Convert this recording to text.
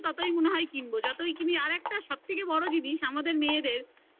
যতই কিনি ততই মনে হয় কিনবো যতই কিনি আর একটা সব থেকে বড় জিনিস আমাদের মেয়েদের